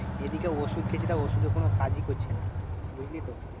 এদিকে ওষুধ খেয়েছি দেখ ওষুধে কোনো কাজই করছে না। বুঝলি তো?